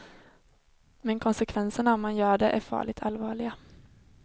Men konsekvenserna om man gör det är farligt allvarliga.